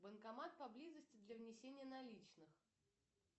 банкомат поблизости для внесения наличных